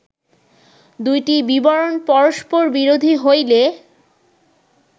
দুইটি বিবরণ পরস্পরবিরোধী হইলে